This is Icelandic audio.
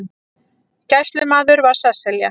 Gæslumaður var Sesselja